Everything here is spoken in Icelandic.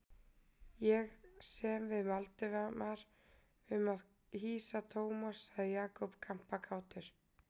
Ég sem við Valdimar um að hýsa Thomas sagði Jakob kampakátur.